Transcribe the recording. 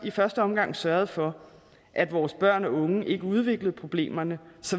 i første omgang sørgede for at vores børn og unge ikke udviklede problemerne